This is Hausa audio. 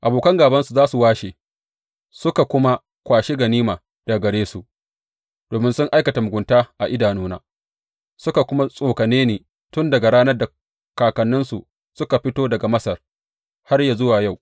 Abokan gābansu za su washe suka kuma kwashi ganima daga gare su, domin sun aikata mugunta a idanuna, suka kuma tsokane ni tun daga ranar da kakanninsu suka fito daga Masar, har yă zuwa yau.